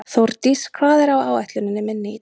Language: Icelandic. Þórdís, hvað er á áætluninni minni í dag?